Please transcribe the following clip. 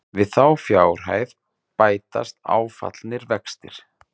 Við þá fjárhæð bætast áfallnir vextir